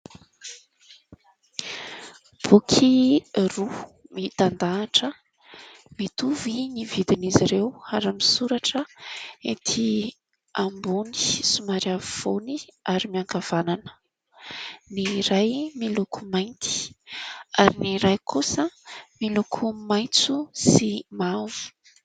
Boky roa mitandahatra, mitovy ny vidin'izy ireo ary misoratra ety ambony somary afovoany ary miankavanana, ny iray miloko mainty ary ny iray kosa miloko maitso sy mavo.